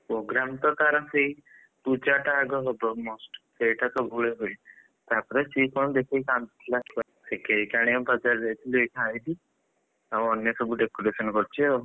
program ତ ତାର ସେଇ ପୂଜାଟା ଆଗ ହବ must ସେଇଟା ତ ହୁଏ ଭାଇ, ତାପରେ ସିଏ କଣ ଦେଖିକି କାନ୍ଦୁଥିଲା cake ଆଣିବାକୁ ବଜାର ଯାଇଥିଲି ଆଇଖା ଆଇଲି ଆଉ ଅନ୍ୟ ସବୁ decoration କରୁଛି ଆଉ।